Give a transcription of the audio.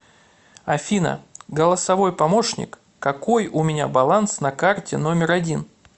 афина голосовой помощник какой у меня баланс на карте номер один